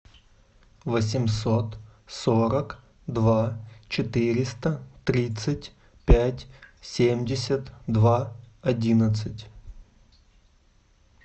восемьсот сорок два четыреста тридцать пять семьдесят два одиннадцать